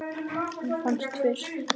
Hún fannst fyrst.